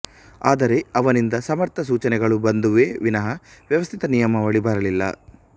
ಆದರೆ ಅವನಿಂದ ಸಮರ್ಥ ಸೂಚನೆಗಳು ಬಂದುವೇ ವಿನಾ ವ್ಯವಸ್ಥಿತ ನಿಯಮಾವಳಿ ಬರಲಿಲ್ಲ